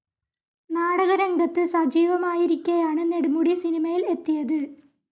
നാടകരംഗത്ത് സജീവമായിരിക്കെയാണ് നെടുമുടി സിനിമയിൽ എത്തിയത്.